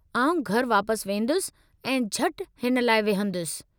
आउं घरि वापसि वेंदुसि ऐं झटि हिन लाइ विहंदुसि।